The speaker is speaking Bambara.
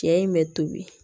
Cɛ in bɛ tobi